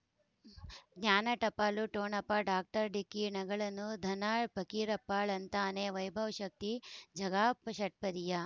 ಜ್ಞಾನ ಟಪಾಲು ಠೊಣಪ ಡಾಕ್ಟರ್ ಢಿಕ್ಕಿ ಣಗಳನು ಧನ ಫಕೀರಪ್ಪ ಳಂತಾನೆ ವೈಭವ್ ಶಕ್ತಿ ಝಗಾ ಷಟ್ಪದಿಯ